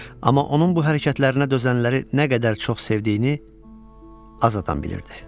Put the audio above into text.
Amma onun bu hərəkətlərinə dözənləri nə qədər çox sevdiyini az adam bilirdi.